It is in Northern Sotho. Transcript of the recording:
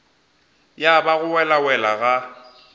ya ba go welawela ga